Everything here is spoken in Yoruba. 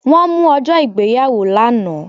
Wọ́n mú ọjọ́ ìgbéyàwó lánàá